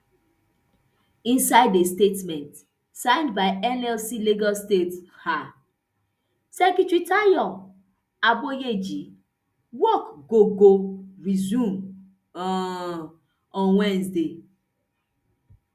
inisde a statement signed by nlc lagos state um secretary tayo aboyeji work go go resume um on wednesday